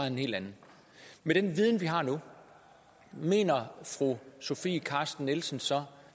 en helt anden med den viden vi har nu mener fru sofie carsten nielsen så